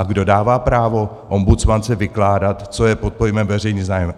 A kdo dává právo ombudsmance vykládat, co je pod pojmem veřejný zájem?